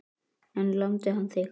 En lamdi hann þig?